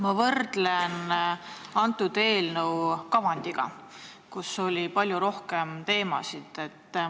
Ma võrdlen eelnõu selle kavandiga, kus oli palju rohkem teemasid.